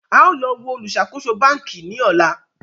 a o lọ wo oluṣakoso banki ni ọla